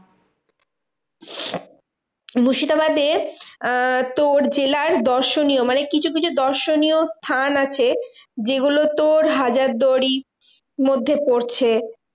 মুর্শিদাবাদে আহ তোর জেলার দর্শনীয় মানে কিছু কিছু দর্শনীয় স্থান আছে যেগুলো তোর হাজারদুয়ারি মধ্যে পড়ছে।